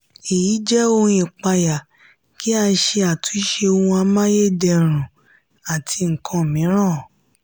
èyí jẹ́ ohun ìpayà kí a ṣe àtúnṣe ohun amáyédẹrùn àti nkan mìíràn.